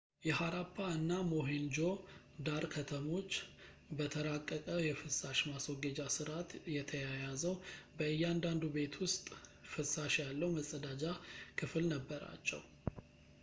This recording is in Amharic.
የሃራፓ እና ሞሄንጆ-ዳሮ ከተሞች በተራቀቀ የፍሳሽ ማስወገጃ ስርዓት የተያያዘው በእያንዳንዱ ቤት ውስጥ ፍላሽ ያለው መጸዳጃ ክፍል ነበራቸው